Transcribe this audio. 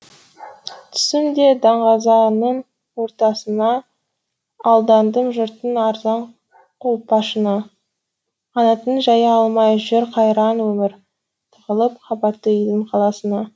түстім де даңғазаның ортасына алдандым жұрттың арзан қолпашына қанатын жая алмай жүр қайран өмір тығылып қабатты үйдің қалқасына